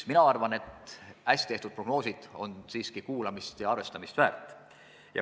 Mina arvan, et hästi tehtud prognoosid on siiski kuulamist ja arvestamist väärt.